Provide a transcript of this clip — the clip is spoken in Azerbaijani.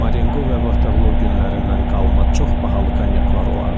Marengo və Vaterlo günlərindən qalma çox bahalı kanyaklar olardı.